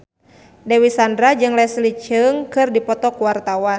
Dewi Sandra jeung Leslie Cheung keur dipoto ku wartawan